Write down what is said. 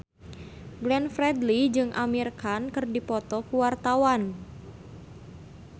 Glenn Fredly jeung Amir Khan keur dipoto ku wartawan